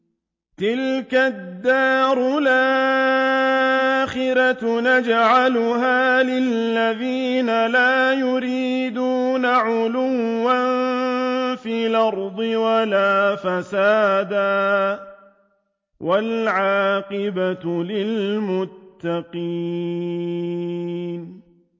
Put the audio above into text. تِلْكَ الدَّارُ الْآخِرَةُ نَجْعَلُهَا لِلَّذِينَ لَا يُرِيدُونَ عُلُوًّا فِي الْأَرْضِ وَلَا فَسَادًا ۚ وَالْعَاقِبَةُ لِلْمُتَّقِينَ